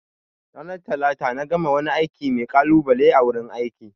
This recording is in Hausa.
Ranar Talata na gama wani aiki mai kalubale a wurin aiki